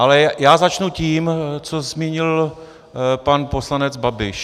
Ale já začnu tím, co zmínil pan poslanec Babiš.